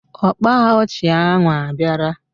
Ọkpa ọchị ahụ abịara?